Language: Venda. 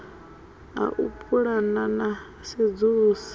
ha u pulana na sedzulusa